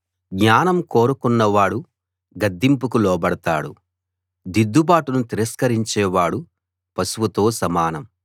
జ్ఞానం కోరుకున్నవాడు గద్దింపుకు లోబడతాడు దిద్దుబాటును తిరస్కరించేవాడు పశువుతో సమానం